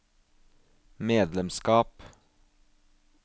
medlemskap